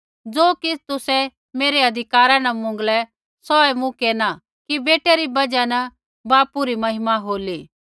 ज़ो किछ़ तुसै मेरै अधिकारा न मौंगलै सौहै मूँ केरना कि बेटै री बजहा न बापू री महिमा होली